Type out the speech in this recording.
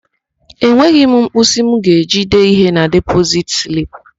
Enweghị m mkpịsị m ga-eji dee ihe na depozit slip.